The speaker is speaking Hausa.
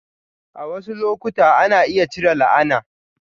A wasu lokuta, ana iya cire la'ana.